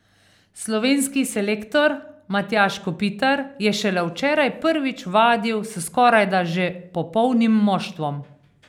Slovenski selektor Matjaž Kopitar je šele včeraj prvič vadil s skorajda že popolnim moštvom.